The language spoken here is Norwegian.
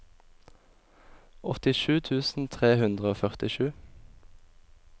åttisju tusen tre hundre og førtisju